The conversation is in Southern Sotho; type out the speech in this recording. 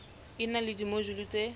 e na le dimojule tse